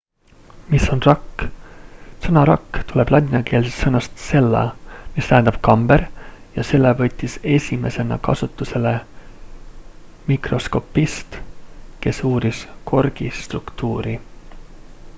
mis on rakk sõna rakk tuleb ladinakeelsest sõnast cella mis tähendab kamber ja selle võttis esimesena kasutusele mikroskopist kes uuris korgi struktuuri